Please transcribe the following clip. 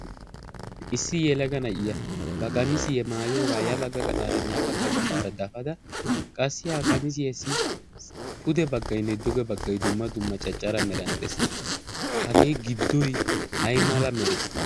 issi yelaganayya ba qamisi ye maayoogaa ya bagga gaxaara ne'a bagga gaxaara dafada qassi ha qamisi hessi pude baggainne doge baggay dumma dumma caccara meranddees hagee giddi ay mala mere?